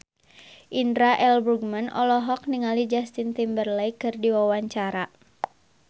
Indra L. Bruggman olohok ningali Justin Timberlake keur diwawancara